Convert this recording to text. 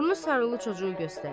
Burnu sarılı çocuğu göstərir.